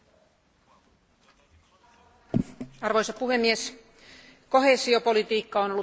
Arvoisa puhemies, koheesiopolitiikka on ollut tarpeellista ja se on ollut onnistunutta.